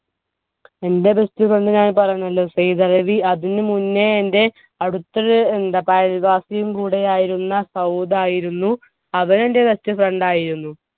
എന്റെ best friend ഞാൻ പറഞ്ഞുല്ലോ സെയ്തലവി. അതിനു മുന്നെ എന്റെ അടുത്തൊരു അയൽവാസിയും കൂടിയായിരുന്ന സൗദ് ആയിരുന്നു. അവനും എന്റെ best friend ആയിരുന്നു.